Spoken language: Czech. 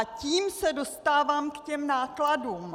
A tím se dostávám k těm nákladům.